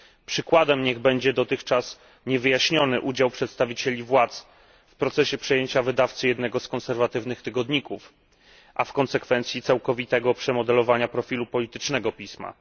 Przykładem niech będzie dotychczas niewyjaśniony udział przedstawicieli władz w procesie przejęcia wydawcy jednego z konserwatywnych tygodników, a w konsekwencji całkowitego przemodelowania profilu politycznego pisma.